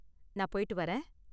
நான் போய்ட்டு வரேன்.